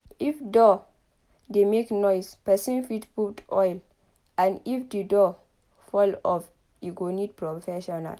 If door dey make noise person fit put oil but if di door fall off e go need professional